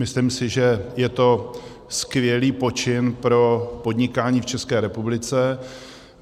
Myslím si, že je to skvělý počin pro podnikání v České republice.